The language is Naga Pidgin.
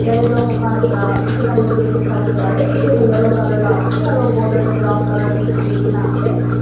yate toh mokhan ekta bishi dangor building sawoparae edu tu yellow colour la ase aro boder tu brown colour paint kurikaena ase.